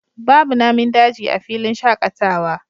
Babu Namin daji a filin shakatawa